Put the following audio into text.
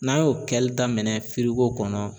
N'an y'o kɛli daminɛ firigo kɔnɔ